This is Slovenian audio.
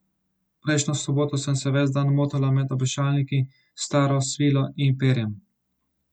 Prejšnjo soboto sem se ves dan motala med obešalniki s staro svilo in perjem.